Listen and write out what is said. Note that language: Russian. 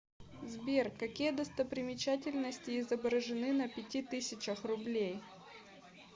сбер какие достопримечательности изображены на пяти тысячах рублей